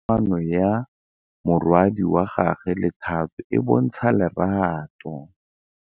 Bontle a re kamanô ya morwadi wa gagwe le Thato e bontsha lerato.